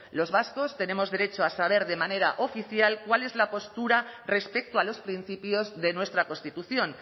los vascos tenemos derecho a saber de manera oficial cuál es la postura respecto a los principios de nuestra constitución